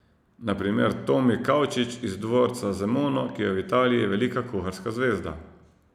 Na primer Tomi Kavčič iz dvorca Zemono, ki je v Italiji velika kuharska zvezda.